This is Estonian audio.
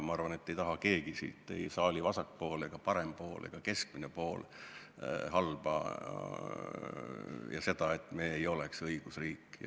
Ma arvan, et mitte keegi siit – ei saali vasak pool, parem pool ega keskmine osa – ei taha halba ega seda, et me ei oleks õigusriik.